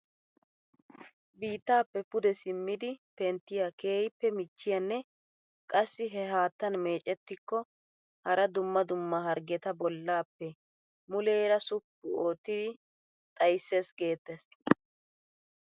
Biittaappe pude simmidi penttiyaa keehippe michchiyaanne qassi he haattan mecettiko hara dumma dumma hargeta bollaappe muleera suppu oottidi xayssees geettees!